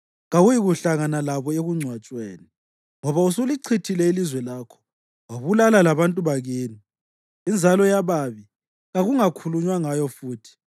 kawuyikuhlangana labo ekungcwatshweni; ngoba usulichithile ilizwe lakho wabulala labantu bakini. Inzalo yababi kakungakhulunywa ngayo futhi.